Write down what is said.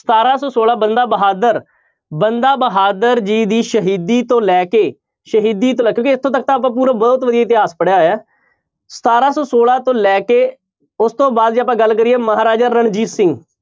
ਸਤਾਰਾਂ ਸੌ ਛੋਲਾਂ ਬੰਦਾ ਬਹਾਦਰ ਬੰਦਾ ਬਹਾਦਰ ਜੀ ਦੀ ਸ਼ਹੀਦੀ ਤੋਂ ਲੈ ਕੇ ਸ਼ਹੀਦੀ ਤੋਂ ਕਿਉਂਕਿ ਇੱਥੋਂ ਤੱਕ ਤਾਂ ਆਪਾਂ ਪੂਰਾ ਬਹੁਤ ਵਧੀਆ ਇਤਿਹਾਸ ਪੜ੍ਹਿਆ ਹੋਇਆ ਹੈ, ਸਤਾਰਾਂ ਸੌ ਛੋਲਾਂ ਤੋਂ ਲੈ ਕੇ ਉਸ ਤੋਂ ਬਾਅਦ ਜੇ ਆਪਾਂ ਗੱਲ ਕਰੀਏ ਮਹਾਰਾਜਾ ਰਣਜੀਤ ਸਿੰਘ